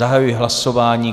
Zahajuji hlasování.